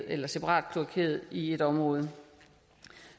eller separatkloakeres i et område